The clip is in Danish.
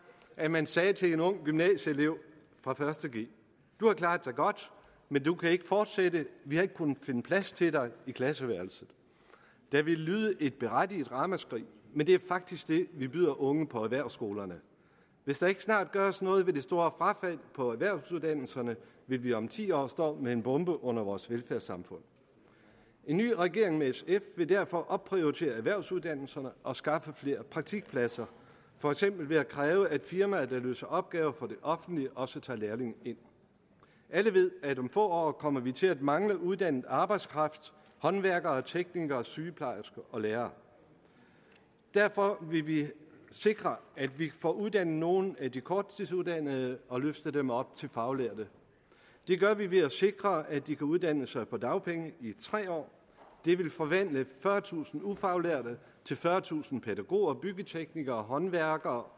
at man sagde til en ung gymnasieelev fra første g du har klaret dig godt men du kan ikke fortsætte vi har ikke kunnet finde plads til dig i klasseværelset der ville lyde et berettiget ramaskrig men det er faktisk det vi byder unge på erhvervsskolerne hvis der ikke snart gøres noget ved det store frafald på erhvervsuddannelserne vil vi om ti år stå med en bombe under vores velfærdssamfund en ny regering med sf vil derfor opprioritere erhvervsuddannelserne og skaffe flere praktikpladser for eksempel ved at kræve at firmaer der løser opgaver for det offentlige også tager lærlinge ind alle ved at vi om få år kommer til at mangle uddannet arbejdskraft håndværkere teknikere sygeplejersker og lærere derfor vil vi sikre at vi får uddannet nogle af de korttidsuddannede og løftet dem op til faglærte det gør vi ved at sikre at de kan uddanne sig på dagpenge i tre år det vil forvandle fyrretusind ufaglærte til fyrretusind pædagoger byggeteknikere håndværkere